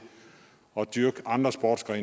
er